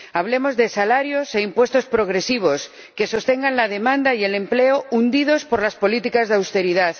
Hablemos de salarios e impuestos progresivos, que sostengan la demanda y el empleo, hundidos por las políticas de austeridad.